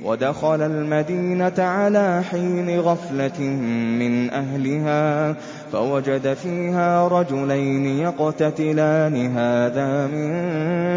وَدَخَلَ الْمَدِينَةَ عَلَىٰ حِينِ غَفْلَةٍ مِّنْ أَهْلِهَا فَوَجَدَ فِيهَا رَجُلَيْنِ يَقْتَتِلَانِ هَٰذَا مِن